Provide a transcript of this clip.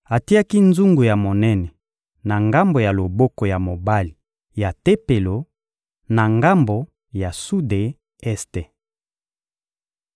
Atiaki nzungu ya monene na ngambo ya loboko ya mobali ya Tempelo, na ngambo ya sude-este.